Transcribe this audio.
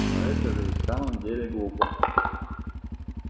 но это же и в самом деле глупо